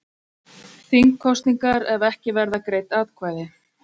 Þingkosningar ef ekki verða greidd atkvæði